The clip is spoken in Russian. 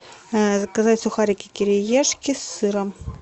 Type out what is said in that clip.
заказать сухарики кириешки с сыром